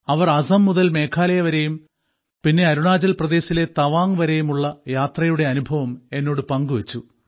അവർ അസം മുതൽ മേഘാലയ വരെയും പിന്നെ അരുണാചൽപ്രദേശിലെ തവാംഗ് വരെയുമുള്ള യാത്രയുടെ അനുഭവം എന്നോട് പങ്കുവെച്ചു